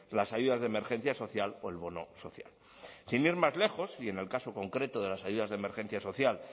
las ayudas de emergencia social o el bono social sin ir más lejos y en el caso concreto de las ayudas de emergencia social